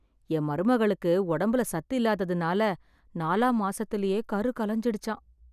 என் மருமகளுக்கு ஒடம்புல சத்து இல்லாததுனால, நாலாம் மாசத்துலயே கரு கலஞ்சிடுச்சாம்...